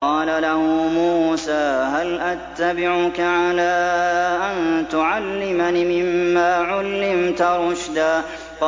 قَالَ لَهُ مُوسَىٰ هَلْ أَتَّبِعُكَ عَلَىٰ أَن تُعَلِّمَنِ مِمَّا عُلِّمْتَ رُشْدًا